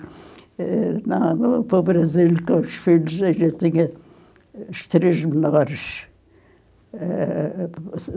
Eh, na, para o Brasil, com os filhos, eu já tinha os três menores. Eh...